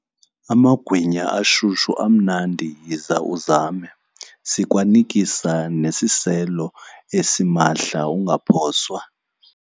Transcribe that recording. Amagwinya ashushu amnandi yiza uzame. Sikwanikisa nangesiselo esimahla, ungaphoswa.